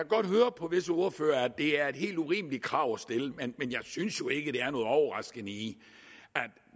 godt høre på visse ordførere at det er et helt urimeligt krav at stille men jeg synes jo ikke der er noget overraskende i